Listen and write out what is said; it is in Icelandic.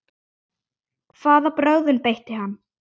Hvaða brögðum beitti hann?